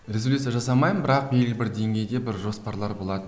резолюция жасамаймын бірақ белгілі бір деңгейде бір жоспарлар